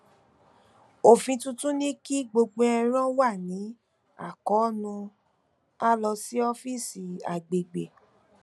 òfin tuntun ní kí gbogbo ẹran wà ní àkóónú a lọ sí ọfíìsì agbègbè